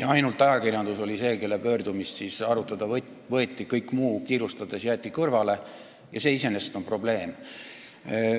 ainult ajakirjanduse pöördumine võeti arutelule, kõik muu jäeti kiirustades kõrvale, mis on iseenesest probleem.